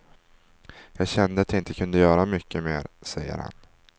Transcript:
Jag kände att jag inte kunde göra mycket mer, säger han.